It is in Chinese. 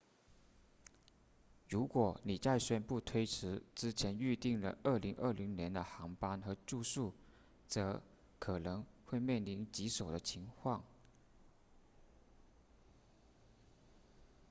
如果你在宣布推迟之前预订了2020年的航班和住宿则可能会面临棘手的情况